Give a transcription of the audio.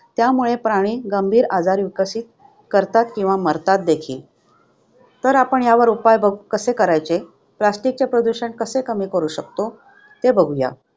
त्यामुळे, प्राणी गंभीर आजार विकसित करतात किंवा मरतात देखील. तर आपण यावर उपाय बघून कसे करायचे? आपण plastic चे प्रदूषण कसे कमी करू शकतो? ते बघूया